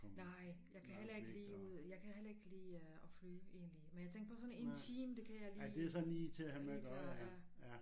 Nej jeg kan heller ikke lide ud jeg kan heller ikke lide at flyve egentlig men jeg tænkte på sådan en time det kan jeg lige lige klare ja